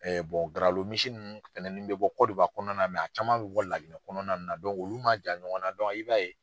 Garalo misi ninnu fɛnɛni bɛ bɔ kɔnɔna na a caman bɛ bɔ Laginɛ kɔnɔna na nin na olu man jan ɲɔgɔn na i b'a ye